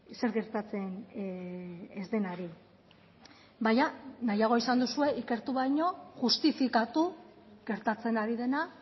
zer gertatzen ez denari baina nahiago izan duzue ikertu baino justifikatu gertatzen ari dena